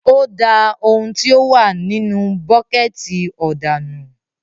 O dà òun tí o wà nínú buketi òdà nù